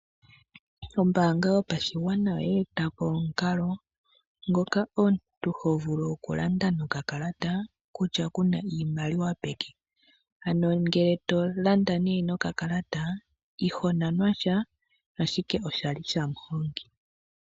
Ombaanga yotango yo pashigwana oye etamo omukalo ngoka omuntu to vulu oku landa no ka kalata, kutya kuna iimaliwa peke. Ano ngele to landa no ka kalalata iho nanwa sha ashike oshali shamuhongi.